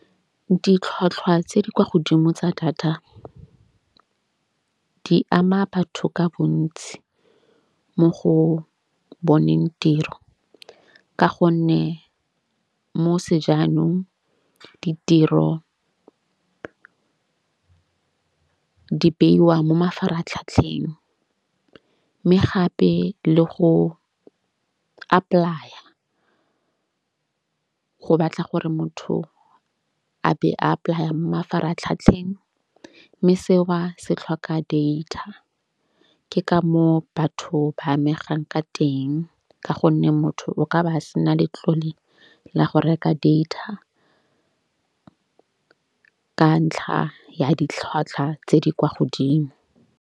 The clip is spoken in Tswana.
Ditlhwatlhwa tse di kwa godimo tsa data di ama batho ka bontsi, mo go boneng tiro ka gonne mo sejanong ditiro di beiwa mo mafaratlhatlheng. Mme gape le go apply-a go batla gore motho a be a apply-a mo mafaratlhatlheng. Mme seo ba se tlhoka data. Ke ka moo batho ba amegang ka teng ka gonne motho o ka ba sena letlole la go reka data, ka ntlha ya ditlhwatlhwa tse di kwa godimo.